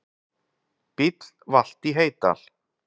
Bíll valt í Heydal